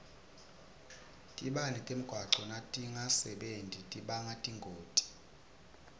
tibane temgwaco natingasebenti tibanga tingoti